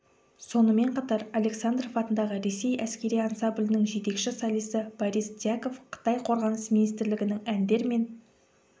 сонымен қатар александров атындағы ресей әскері ансамблінің жетекші солисі борис дьяков қытай қорғаныс министрлігінің әндер мен